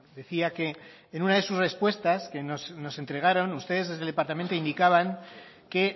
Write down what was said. decía que en una de sus respuestas que nos entregaron ustedes desde el departamento indicaban que